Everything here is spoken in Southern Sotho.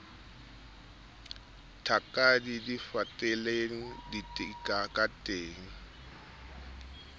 thakadi di fatelang ka teng